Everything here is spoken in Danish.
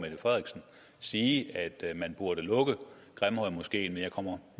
sige at man burde lukke grimhøjmoskeen men jeg kommer